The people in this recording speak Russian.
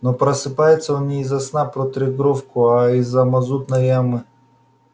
но просыпается он не из-за сна про трёхгровку а из-за мазутной ямы